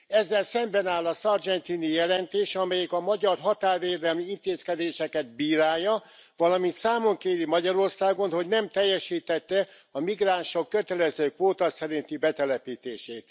Ezzel szemben áll a Sargentini jelentés, amelyik a magyar határvédelmi intézkedéseket bírálja, valamint számon kéri Magyarországon, hogy nem teljesítette a migránsok kötelező kvóta szerinti betelepítését.